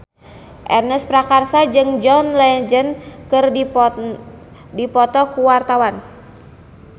Ernest Prakasa jeung John Legend keur dipoto ku wartawan